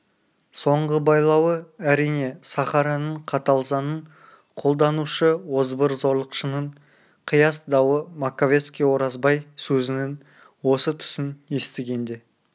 соңғы байлауы әрине сахараның қатал заңын қолданушы озбыр-зорлықшының қияс дауы маковецкий оразбай сөзінің осы тұсын естігенде